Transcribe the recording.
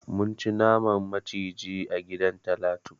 Mun ci naman maciji a gidan Talatu.